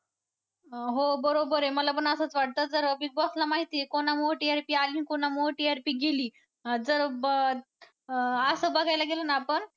अं हो बरोबर आहे मला पण असंच वाटतं तर Big Boss ला माहिती आहे. कुणामुळं TRP आली आणि कुणामुळं गेली अं जर असं बघायला गेलं ना